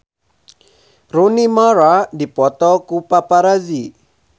Rooney Mara dipoto ku paparazi